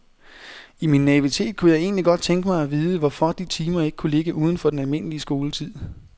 I min naivitet kunne jeg egentlig godt tænke mig at vide, hvorfor de timer ikke kunne ligge uden for den almindelige skoletid.